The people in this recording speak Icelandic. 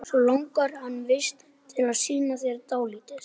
Það er ekkert við þessu að gera.